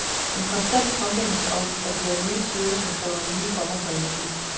En konstant påmindelse om, at det er nye tider, som kræver nye former for energi.